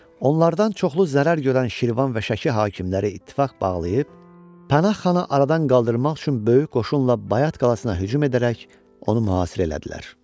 onlardan çoxlu zərər görən Şirvan və Şəki hakimləri ittifaq bağlayıb, Pənah xanı aradan qaldırmaq üçün böyük qoşunla Bayat qalasına hücum edərək, onu mühasirə elədilər.